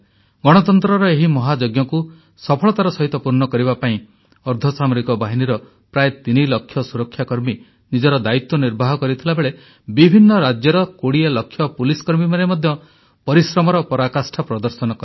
ଗଣତନ୍ତ୍ରର ଏହି ମହାଯଜ୍ଞକୁ ସଫଳତାର ସହିତ ପୂର୍ଣ୍ଣ କରିବା ପାଇଁ ଅର୍ଦ୍ଧସାମରିକ ବାହିନୀର ପ୍ରାୟ ତିନି ଲକ୍ଷ ସୁରକ୍ଷାକର୍ମୀ ନିଜର ଦାୟିତ୍ୱ ନିର୍ବାହ କରିଥିବାବେଳେ ବିଭିନ୍ନ ରାଜ୍ୟର 20 ଲକ୍ଷ ପୁଲିସ କର୍ମୀମାନେ ମଧ୍ୟ ପରିଶ୍ରମର ପରାକାଷ୍ଠା ପ୍ରଦର୍ଶନ କଲେ